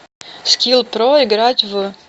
скилл про играть в